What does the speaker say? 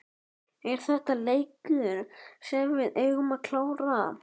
Er þetta leikur sem við eigum að klára?